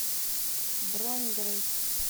бронь грэйс